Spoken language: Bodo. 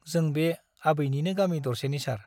जों बे आबैनिनो गामि दरसेनि सार ।